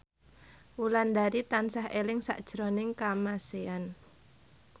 Wulandari tansah eling sakjroning Kamasean